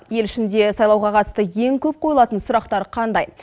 ел ішінде сайлауға қатысты ең көп қойылатын сұрақтар қандай